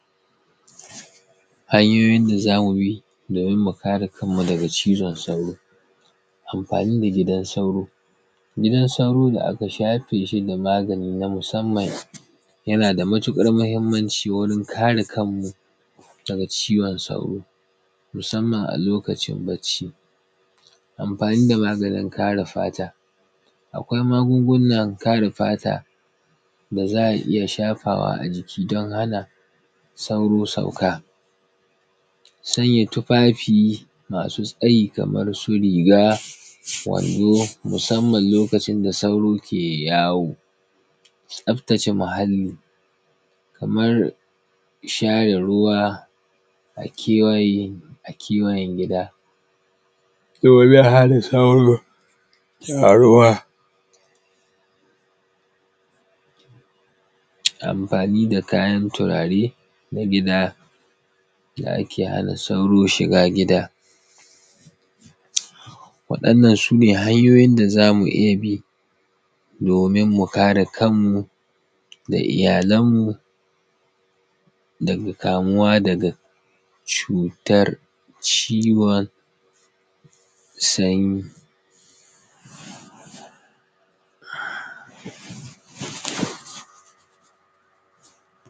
hanyoyin da za mu bi domin mu kare kan mu daga cizon sauro amfani da gidan sauro gidan sauro da aka shafe shi da magani na musamman yana da matuƙar muhimmanci wurin kare kan mu daga cizon sauro musamman a lokacin bacci amfani da maganin kare fata akwai magungunan kare fata da za a iya shafawa a jiki don hana sauro sauka sanya tufafi masu tsayi kaman su riga wando musamman lokacin da sauro ke yawo tsaftace muhalli kaman share ruwa a kewayen gida duk wani halin sauro yana ruwa amfani da kayan turare na gida da ake hana sauro shiga gida waɗannan su ne hanyoyin da za mu iya bi domin mu kare kan mu da iyalan mu daga kamuwa daga cutar cizon sauro